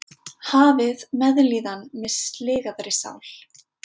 Hafið meðlíðan með sligaðri sál.